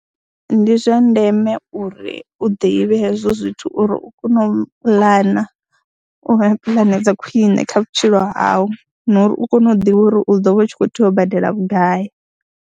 Ndi zwa ndeme uri u ḓivhe hezwo zwithu uri u kone u puḽana, u vha na puḽane dza khwiṋe kha vhutshilo hau na uri u kone u ḓivha uri u ḓo vha u tshi khou tea u badela vhugai.